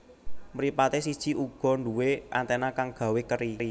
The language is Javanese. Mripaté siji uga nduwé anténa kang gawé keri